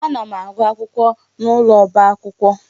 Ana m agụ akwụkwọ n'ụlọ ọba akwụkwọ.